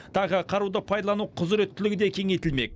тағы қаруды пайдалану құзыреттілігі де кеңейтілмек